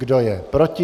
Kdo je proti?